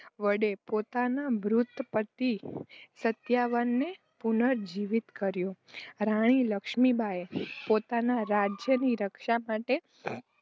વડે પોતાના મૃત પતિ સત્યવાનને પુનર્જીવિત કર્યો. રાણી લકમીબાઈએ પોતાના રાજ્યની રક્ષા માટે